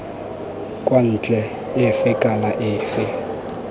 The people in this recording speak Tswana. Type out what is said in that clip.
kwa ntle efe kana efe